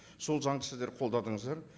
сол заңды сіздер қолдадыңыздар